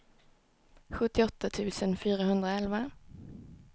sjuttioåtta tusen fyrahundraelva